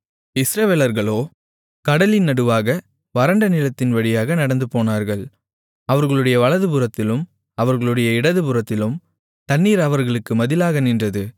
இஸ்ரவேலர்களோ கடலின் நடுவாக வறண்ட நிலத்தின் வழியாக நடந்துபோனார்கள் அவர்களுடைய வலதுபுறத்திலும் அவர்களுடைய இடதுபுறத்திலும் தண்ணீர் அவர்களுக்கு மதிலாக நின்றது